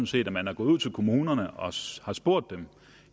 set at man er gået ud til kommunerne og har spurgt